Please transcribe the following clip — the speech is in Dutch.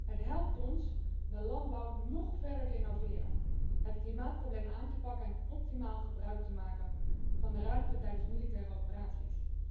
Het helpt ons de landbouw nog verder te innoveren, het klimaatprobleem aan te pakken en optimaal gebruik te maken van de ruimte tijdens militaire operaties.